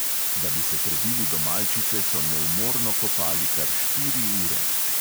Da bi se prebili do malčice, so neumorno kopali kar štiri ure.